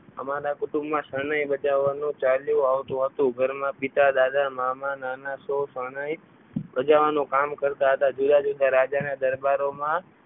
અમારા કુટુંબમાં શરણાઈ બજાવવાનું ચાલ્યું આવતું હતું ઘરમાં પિતા દાદા મામા નાના સૌ શરણાઈ બજાવાનું કામ કરતા હતા જુદા જુદા રાજાઓના દરબારોમાં